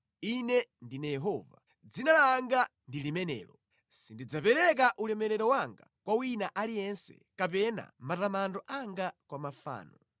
“Ine ndine Yehova: dzina langa ndi limenelo! Sindidzapereka ulemerero wanga kwa wina aliyense kapena matamando anga kwa mafano.